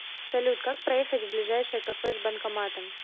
салют как проехать в ближайшее кафе с банкоматом